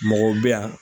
Mɔgɔw bɛ yan